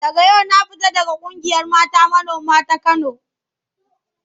Daga yau na fita daga ƙungiyar mata manoma ta Kano.